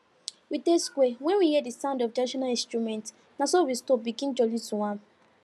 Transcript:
we dey square when we hear the sound of traditional instruments naso we stop begin jolly to am